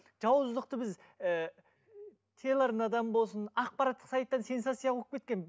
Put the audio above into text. жауыздықты біз ііі телеарнадан болсын ақпараттық сайттан сенсация қуып кеткен